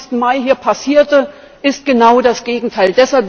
25. Mai hier passierte, ist genau das Gegenteil.